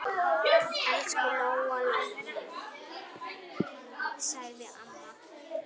Elsku Lóa-Lóa mín, sagði mamma.